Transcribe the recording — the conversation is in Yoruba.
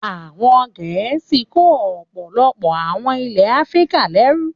Àwọn Gẹ̀ẹ́sì kó ọ̀pọ̀lọpọ̀ àwọn ilẹ̀ Áfíríkà lẹ́rú.